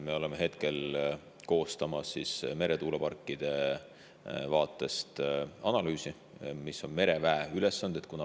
Me oleme koostamas analüüsi selle kohta, mis on mereväe ülesanded meretuuleparkide vaatest.